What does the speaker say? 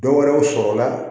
Dɔwɛrɛw sɔrɔla